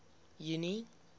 junie